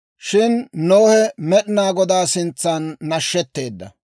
Shin Nohe Med'inaa Godaa sintsan nashetteedda.